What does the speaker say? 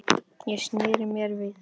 Ég sneri mér við.